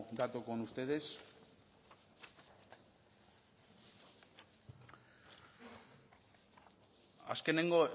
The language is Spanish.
dato con ustedes azkeneko